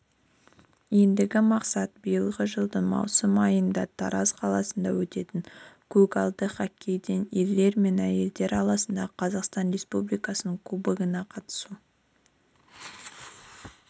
ендігі мақсат биылғы жылдың маусым айында тараз қаласында өтетін көгалдағы хоккейден ерлер мен әйелдер арасындағы қазақстан республикасының кубогына қатысу